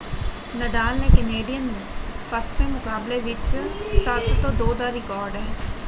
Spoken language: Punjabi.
ਨਡਾਲ ਦੇ ਕਨੇਡੀਅਨ ਫੱਸਵੇਂ ਮੁਕਾਬਲੇ ਵਿੱਚ 7-2 ਦਾ ਰਿਕਾਰਡ ਹੈ।